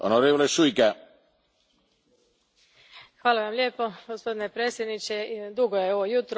Gospodine predsjedniče, dugo je ovo jutro, imali ste izvrstan sveobuhvatan uvodni govor i ove odgovore.